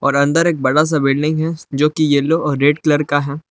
और अंदर एक बड़ा सा बिल्डिंग है जो की येलो और रेड कलर का है।